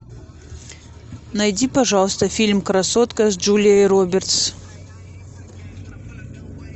найди пожалуйста фильм красотка с джулией робертс